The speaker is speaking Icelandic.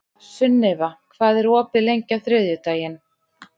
Sunniva, hvað er opið lengi á þriðjudaginn?